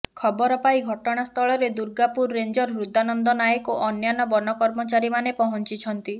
ଖବର ପାଇ ଘଟଣାସ୍ଥଳରେ ଦୁର୍ଗାପୁର ରେଞ୍ଜର୍ ହୃଦାନନ୍ଦ ନାୟକ ଓ ଅନ୍ୟାନ୍ୟ ବନ କର୍ମଚାରୀମାନେ ପହଞ୍ଚିଛନ୍ତି